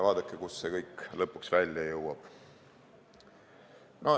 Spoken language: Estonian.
Aga kuhu see kõik lõpuks välja jõuab?